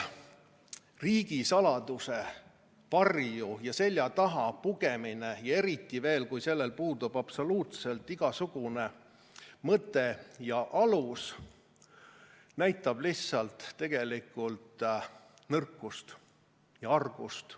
Riigisaladuse varju ja selja taha pugemine, eriti veel, kui sellel puudub absoluutselt igasugune mõte ja alus, näitab tegelikult lihtsalt nõrkust ja argust.